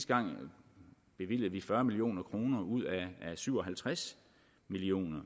gang bevilgede fyrre million kroner ud af syv og halvtreds million